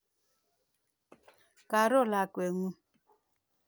Karo lakwet ng'ung'.